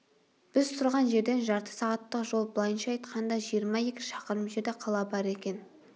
біз тұрған жерден жарты сағаттық жол былайша айтқанда жиырма екі шақырым жерде қала бар екен